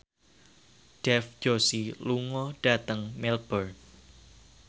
Dev Joshi lunga dhateng Melbourne